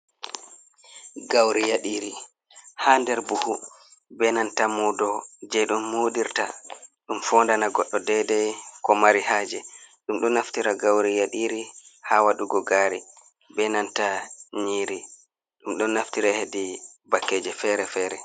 Gauri yaɗiri ha nder buhu be nanta mudo je ɗum modirta ɗum fondana goddo dedei ko mari haje, ɗum ɗon naftira gauri yadiri ha waɗugo gaari benanta nyiri ɗum ɗon naftira hedi bakkeje fere-fere.